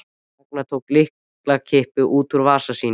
Ragnar tók lyklakippu upp úr vasa sínum.